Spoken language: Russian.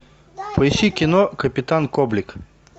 поищи кино капитан коблик